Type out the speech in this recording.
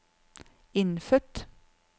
innfødt